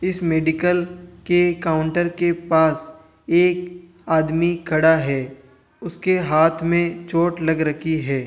इस मेडिकल के काउंटर के पास एक आदमी खड़ा है उसके हाथ में चोट लग रखी है।